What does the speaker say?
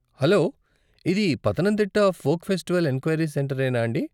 Hello ఇది Pathanamthitta folk festival enquiry centre ఏనా అండి?